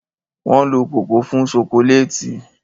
Wọ́n lo kòkó fún ṣokoléètì.